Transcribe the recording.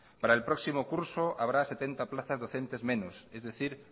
para el próximo curso habrá setenta plazas docentes menos es decir